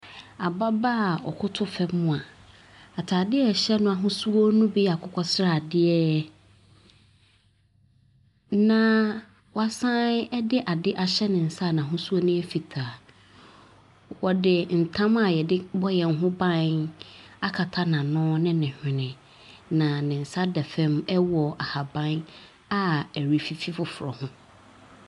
Ababaa ɔkoto fam a . Ataade a ɛhyɛ no ahosuo no bi yɛ akokɔsradeɛ. Naa wasan de ade ahyɛ ne nsa a n'ahosuo ne yɛ fitaa. Wɔde ntam a yɛde bɔ yɛn ho ban akata n'ano ne ne hwene na ne nsa da fam wɔ ahaban a ɛrefifi foforɔ ho.